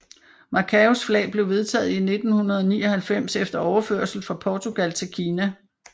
Macaos flag blev vedtaget i 1999 efter overførsel fra Portugal til Kina